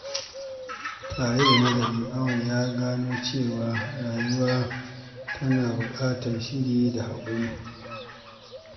Tare da nazari, Auwal ya gano cewa rayuwa tana buƙatar shiri da haƙuri.